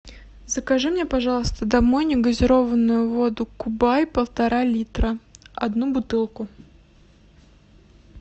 закажи мне пожалуйста домой негазированную воду кубай полтора литра одну бутылку